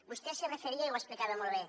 vostè s’hi referia i ho explicava molt bé